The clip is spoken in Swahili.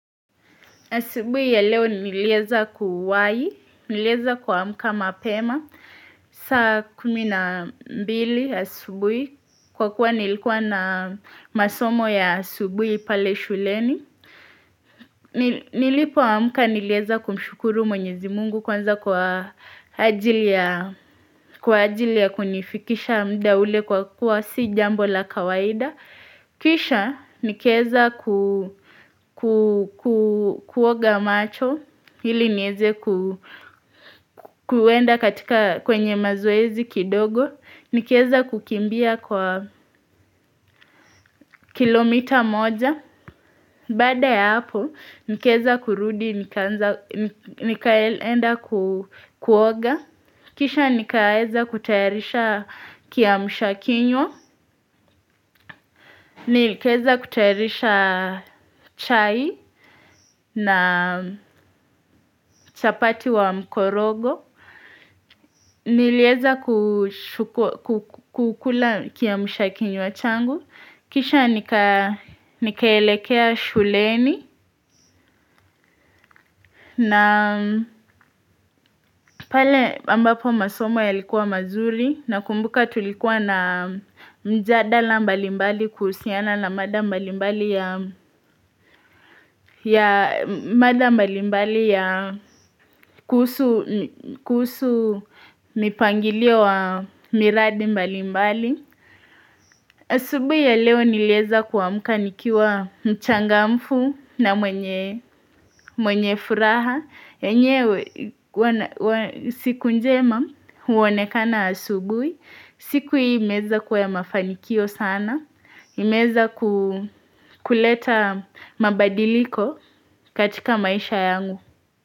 Asubuhi ya leo nilieza kuwai, nilieza kuamka mapema, saa kumi na mbili asubuhi, kwa kuwa nilikuwa na masomo ya asubuhi pale shuleni. Nilipoamka nilieza kumshukuru mwenyezi Mungu kwanza kwa ajili ya kunifikisha muda ule kwa kuwa si jambo la kawaida. Kisha nikaeza kuoga macho ili nieze kuenda katika kwenye mazoezi kidogo. Nikaeza kukimbia kwa kilomita moja. Baada ya hapo nikaeza kurudi nikaenda kuoga. Kisha nikaeza kutayarisha kiamsha kinywa. Nikaeza kutayarisha chai na chapati wa mkorogo. Nilieza kukula kiamsha kinywa changu kisha nikaelekea shuleni na pale ambapo masomo yalikuwa mazuri nakumbuka tulikuwa na mjadala mbalimbali kuhusiana na mada mbalimbali ya kuhusu mipangilio wa miradi mbalimbali. Asubuhi ya leo nilieza kuamka nikiwa mchangamfu na mwenye furaha. Enyewe siku njema huonekana asubuhi. Siku hii imeweza kuwa ya mafanikio sana. Imeweza kuleta mabadiliko katika maisha yangu.